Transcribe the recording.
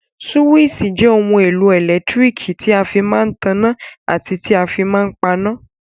Súwísì jẹ́ ohun èlò ẹ̀lẹ́tíríkì tí a fí máa n tanná àti tí a fí máa n paná